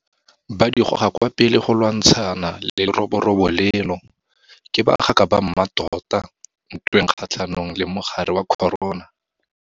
Ba di goga kwa pele go lwantshana le leroborobo leno. Ke bagaka ba mmatota ntweng kgatlhanong le mogare wa corona.